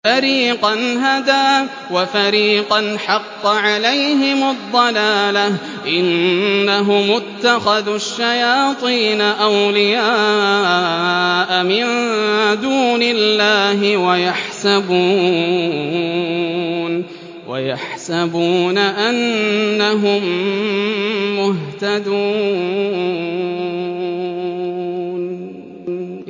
فَرِيقًا هَدَىٰ وَفَرِيقًا حَقَّ عَلَيْهِمُ الضَّلَالَةُ ۗ إِنَّهُمُ اتَّخَذُوا الشَّيَاطِينَ أَوْلِيَاءَ مِن دُونِ اللَّهِ وَيَحْسَبُونَ أَنَّهُم مُّهْتَدُونَ